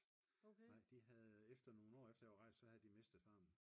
nej de havde efter nogle år efter jeg var rejst så havde de mistet farmen